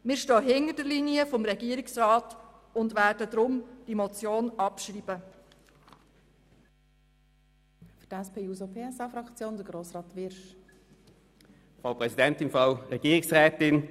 Wir stehen hinter der Linie des Regierungsrats und werden diese Motion deshalb abschreiben.